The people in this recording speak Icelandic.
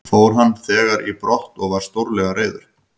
Fór hann þegar í brott og var stórlega reiður.